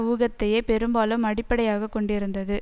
ஊகத்தையே பெரும்பாலும் அடிப்படையாக கொண்டிருந்தது